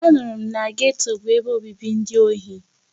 Anụrụ m na geto bụ ebe obibi ndị ohi.